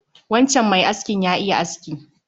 Wancan mai askin ya iya aski